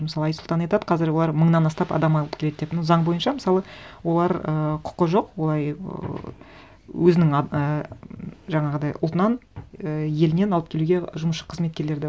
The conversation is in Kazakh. мысалы айсұлтан айтады қазір олар мыңнан астап адам алып келеді деп но заң бойынша мысалы олар ы құқы жоқ олай ыыы өзінің і ммм жаңағыдай ұлтынан і елінен алып келуге жұмысшы қызметкерлерді